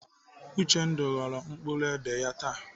Uchendu ghọrọ mkpụrụ édè ya taa.